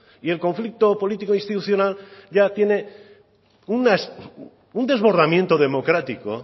y el conflicto político institucional ya tiene un desbordamiento democrático